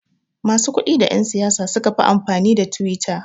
Masu kudi da yan siyasa sukafi amfani da twitter